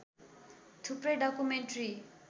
थुप्रै डकुमेन्ट्री